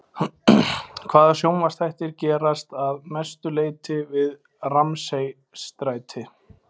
Hvaða sjónvarpsþættir gerast að mestu leyti við Ramsay-stræti?